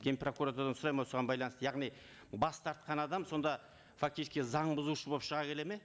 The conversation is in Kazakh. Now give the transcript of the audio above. ген прокуратурадан сұраймын осыған байланысты яғни бас тартқан адам сонда фактически заң бұзушы болып шыға келеді ме